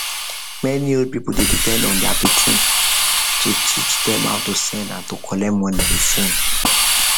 many old people dey depend on their pikin to teach dem how to send and to collect money with phone